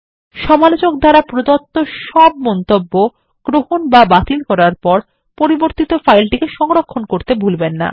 সমালোচক দ্বারা প্রদত্ত সব মন্তব্য গ্রহণ বা বাতিল করার পর পরিবর্তিত ফাইলটিকে সংরক্ষণ করতে ভুলবেন না